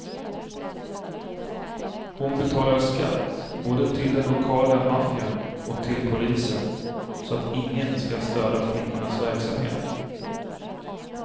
Hon betalar skatt, både till den lokala maffian och till polisen, så att ingen skall störa flickornas verksamhet.